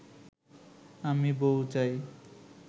আমি বউ চাই